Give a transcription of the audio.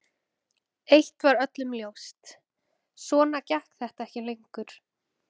Eitt var öllum ljóst: Svona gekk þetta ekki lengur.